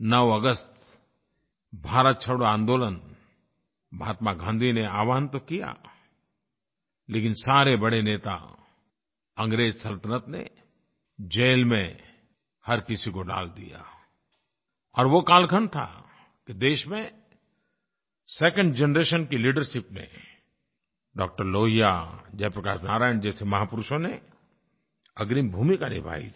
9 अगस्त भारत छोड़ो आन्दोलन महात्मा गाँधी ने आह्वान तो किया लेकिन सारे बड़े नेता अंग्रेज़ सल्तनत ने जेल में हर किसी को डाल दिया और वो कालखंड था कि देश में सेकंड जनरेशन की लीडरशिप ने डॉ लोहिया जयप्रकाश नारायण जैसे महापुरुषों ने अग्रिम भूमिका निभाई थी